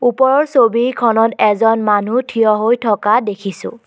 ওপৰৰ ছবিখনত এজন মানুহ থিয় হৈ থকা দেখিছোঁ।